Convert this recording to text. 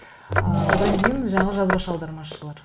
ы одан кейін жаңа жазбаша аудармашылар